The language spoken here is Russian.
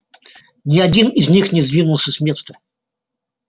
ни один из них не сдвинулся с места